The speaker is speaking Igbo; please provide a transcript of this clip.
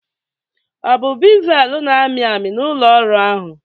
ọ bụ bevel na-amị amị na ụlọ ọrụ ahụ?